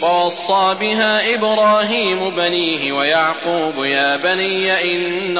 وَوَصَّىٰ بِهَا إِبْرَاهِيمُ بَنِيهِ وَيَعْقُوبُ يَا بَنِيَّ إِنَّ